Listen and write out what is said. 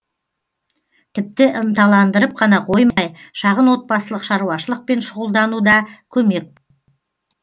тіпті ынталандырып қана қоймай шағын отбасылық шаруашылықпен шұғылдануда көмек